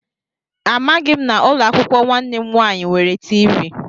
Amaghị m na ụlọakwụkwọ nwanne m nwaanyị nwere tiivii